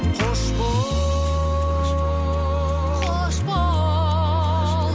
қош бол қош бол